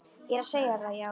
Ég er að segja þér það, já.